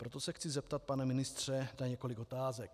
Proto se chci zeptat, pane ministře, na několik otázek.